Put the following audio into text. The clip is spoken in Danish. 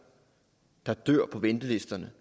på ventelisterne